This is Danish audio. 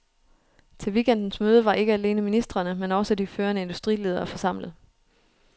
Til weekendens møde var ikke alene ministrene, men også de førende industriledere forsamlet.